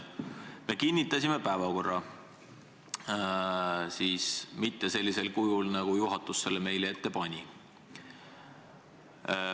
Me kinnitasime päevakorra, aga mitte sellisel kujul, nagu juhatus selle meile ette pani.